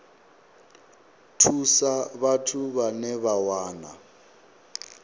thusa vhathu vhane vha wana